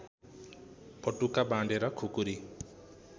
पटुका बाँधेर खुकुरी